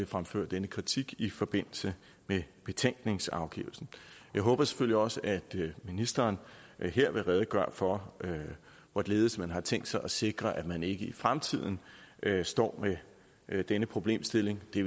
fremføre denne kritik i forbindelse med betænkningsafgivelsen jeg håber selvfølgelig også at ministeren her vil redegøre for hvorledes man har tænkt sig at sikre at man ikke i fremtiden står med denne problemstilling det